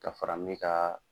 Ka fara min kaaa.